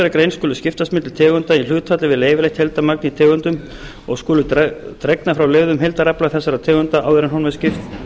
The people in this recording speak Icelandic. grein skulu skiptast milli tegunda í hlutfalli við leyfilegt heildarmagn í tegundunum og skulu dregnar frá leyfðum heildarafla þessara tegunda áður en honum er skipt